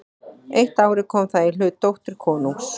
Eitt árið kom það í hlut dóttur konungs.